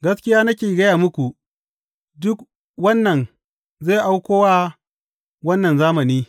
Gaskiya nake gaya muku, duk wannan zai auko wa wannan zamani.